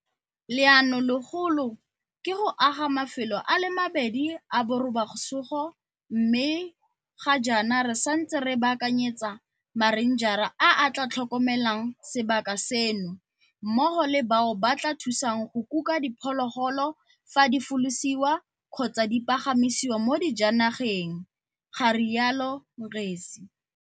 Leanolegolo ke go aga mafelo a le mabedi a borobasogo mme ga jaana re santse re baakanyetsa marenjara a a tla tlhokomelang sebaka seno mmogo le bao ba tla thusang go kuka diphologolo fa di folosiwa kgotsa di pagamisiwa mo dijanageng, ga rialo Ngesi.